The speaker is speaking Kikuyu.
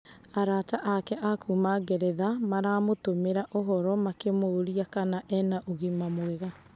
Arata ake a kuuma Ngeretha maramũtũmĩra ũhoro makĩmũũria kana e na ũgima mwega.